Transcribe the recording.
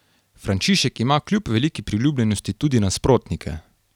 Frančišek ima kljub veliki priljubljenosti tudi nasprotnike.